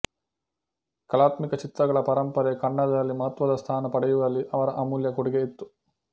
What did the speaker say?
ಕಲಾತ್ಮಕ ಚಿತ್ರಗಳ ಪರಂಪರೆ ಕನ್ನಡದಲ್ಲಿ ಮಹತ್ವದ ಸ್ಥಾನ ಪಡೆಯುವಲ್ಲಿ ಅವರ ಅಮೂಲ್ಯ ಕೊಡುಗೆ ಇತ್ತು